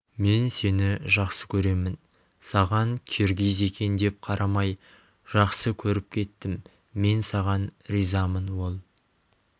мен сені жақсы көремін саған киргиз екен деп қарамай жақсы көріп кеттім мен саған ризамын ол